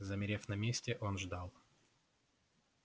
замерев на месте он ждал